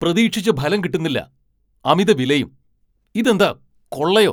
പ്രതീക്ഷിച്ച ഫലം കിട്ടുന്നില്ല. അമിത വിലയും. ഇതെന്താ കൊള്ളയോ?